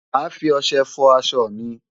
Màá fi ọṣẹ fọ aṣọ mi.